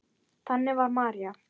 Þannig var María.